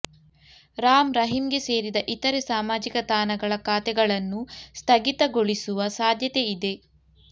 ರಾಮ್ ರಹೀಮ್ಗೆ ಸೇರಿದ ಇತರೆ ಸಾಮಾಜಿಕ ತಾಣಗಳ ಖಾತೆಗಳನ್ನೂ ಸ್ಥಗಿತಗೊಳಿಸುವ ಸಾಧ್ಯತೆ ಇದೆ